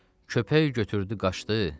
Köpək götürdü qaçdı,